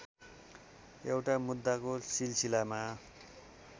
एउटा मुद्दाको सिलसिलामा